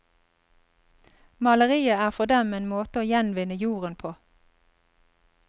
Maleriet er for dem en måte å gjenvinne jorden på.